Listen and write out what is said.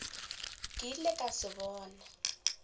ke ilego ka se bona